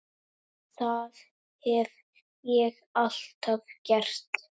Það hef ég alltaf gert.